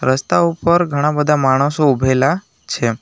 રસ્તા ઉપર ઘણા બધા માણસો ઉભેલા છે.